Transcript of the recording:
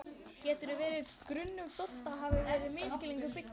Getur verið að grunur Dodda hafi verið á misskilningi byggður?